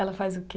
Ela faz o quê?